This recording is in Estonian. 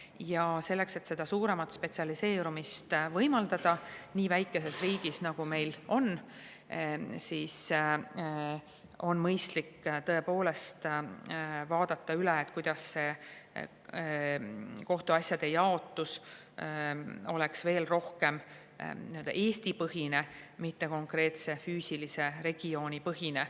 Ja selleks, et seda suuremat spetsialiseerumist võimaldada nii väikeses riigis, nagu meil on, on mõistlik tõepoolest vaadata üle, kuidas kohtuasjade jaotus oleks veel rohkem Eesti-põhine, mitte konkreetse regiooni põhine.